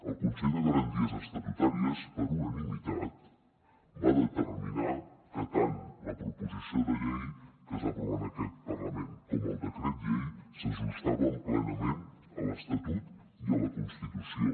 el consell de garanties estatutàries per unanimitat va determinar que tant la proposició de llei que es va aprovar en aquest parlament com el decret llei s’ajustaven plenament a l’estatut i a la constitució